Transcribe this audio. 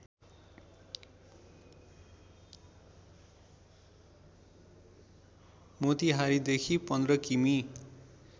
मोतिहारीदेखि १५ किमि